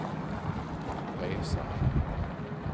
resan